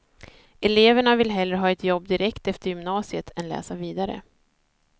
Eleverna vill hellre ha ett jobb direkt efter gymnasiet än läsa vidare.